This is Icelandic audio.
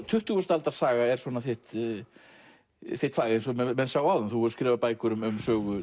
tuttugustu aldar saga er svona þitt þitt fag eins og menn sáu áðan þú hefur skrifað bækur um sögu